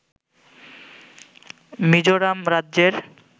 মিজোরাম রাজ্যের